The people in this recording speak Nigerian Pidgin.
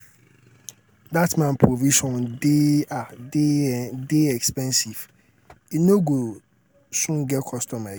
dat man provision dey dey dey expensive. he no go soon get customer again.